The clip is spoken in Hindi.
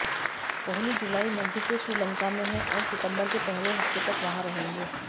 कोहली जुलाई मध्य से श्रीलंका में हैं और सितंबर के पहले हफ्ते तक वहां रहेंगे